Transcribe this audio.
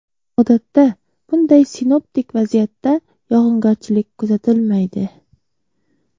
Odatda, bunday sinoptik vaziyatda yog‘ingarchilik kuzatilmaydi.